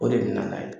O de bɛ na n'a ye